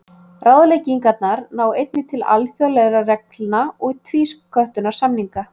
Ráðleggingarnar ná einnig til alþjóðlegra reglna og tvísköttunarsamninga.